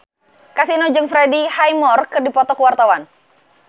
Kasino jeung Freddie Highmore keur dipoto ku wartawan